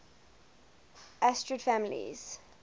asterid families